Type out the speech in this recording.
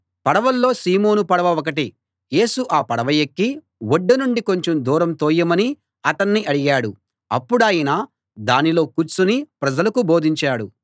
పడవల్లో Simon పడవ ఒకటి యేసు ఆ పడవ ఎక్కి ఒడ్డు నుండి కొంచెం దూరం తోయమని అతన్ని అడిగాడు అప్పుడాయన దానిలో కూర్చుని ప్రజలకు బోధించాడు